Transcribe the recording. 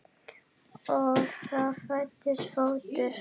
Og þá fæddist fótur.